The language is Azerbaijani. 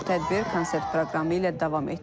Tədbir konsert proqramı ilə davam etdirilib.